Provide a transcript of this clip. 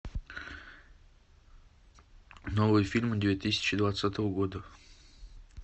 новые фильмы две тысячи двадцатого года